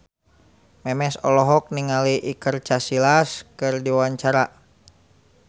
Memes olohok ningali Iker Casillas keur diwawancara